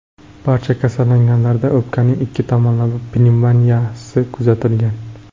Barcha kasallanganlarda o‘pkaning ikki tomonlama pnevmoniyasi kuzatilgan.